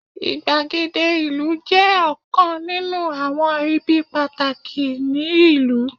igbagede ìlú je ọkàn ninu awọn ibi pataki ni ìlú